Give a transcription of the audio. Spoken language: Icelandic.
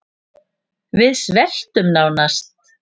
Við sveltum nánast